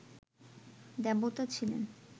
দেবতা ছিলেন